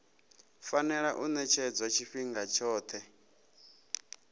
fanela u ṅetshedzwa tshifhinga tshoṱhe